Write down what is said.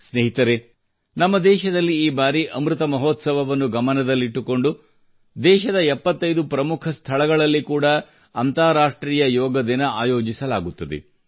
ಸ್ನೇಹಿತರೆ ನಮ್ಮ ದೇಶದಲ್ಲಿ ಈ ಬಾರಿ ಅಮೃತ ಮಹೋತ್ಸವವನ್ನು ಗಮನದಲ್ಲಿಟ್ಟುಕೊಂಡು ದೇಶದ 75 ಪ್ರಮುಖ ಸ್ಥಳಗಳಲ್ಲಿ ಕೂಡಾ ಅಂತಾರಾಷ್ಟ್ರೀಯ ಯೋಗ ದಿನ ಆಯೋಜಿಸಲಾಗುತ್ತದೆ